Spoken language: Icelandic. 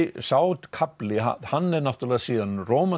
sá kafli hann er náttúrulega síðan